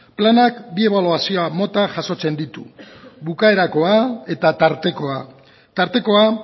planak bi ebaluazio mota jasotzen ditu bukaerakoa eta tartekoa tartekoa